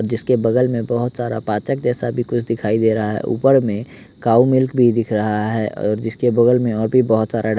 जिसके बगल में बहुत सारा पाचक जैसा भी कुछ दिखाई दे रहा है ऊपर में काऊ मिल्क भी दिख रहा है और जिसके बगल में और भी बहुत सारा डा --